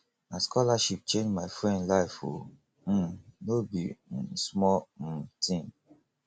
na scholarship change my friend life o um no be um small um tin